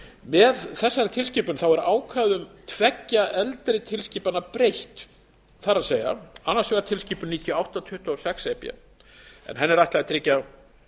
með þessari tilskipun er ákvæði um tveggja eldri tilskipana breytt það er annars vegar tilskipun níutíu og átta tuttugu og sex e b en henni er ætlað að tryggja